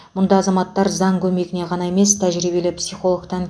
мұнда азаматтар заң көмегіне ғана емес тәжірибелі психологтан